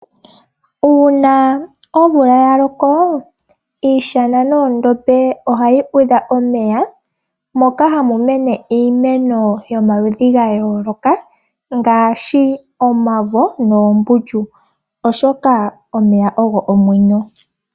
Una omvula ya loko, iishana noondombe ohayi udha omeya, moka hamu mene iimeno yomaludhi ga yooloka, ngaashi omavo noombundju, oshoka omeya ogo omwenyo.